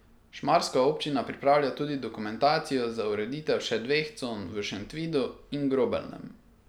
Šmarska občina pripravlja tudi dokumentacijo za ureditev še dveh con v Šentvidu in Grobelnem.